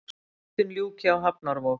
Vigtun ljúki á hafnarvog